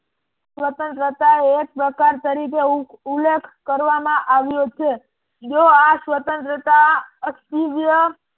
સ્વતંત્રતા એક પ્રકાર તરીકે ઉલ્લેખ કરવામાં આવ્યો છે. જો આ સ્વતંત્રતા અસ્થીર્ય